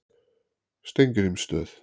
Steingrímsstöð